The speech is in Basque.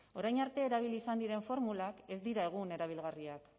orain arte erabili izan diren formulak ez dira egun erabilgarriak